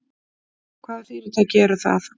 Hvaða fyrirtæki eru það?